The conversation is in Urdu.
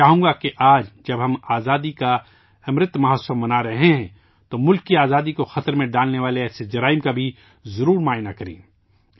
میں چاہوں گا کہ آج جب ہم آزادی کا امرت مہوتسو منا رہے ہیں تو ملک کی آزادی کو خطرے میں ڈالنے والے ایسے جرائم کا بھی ضرور تجزیہ کریں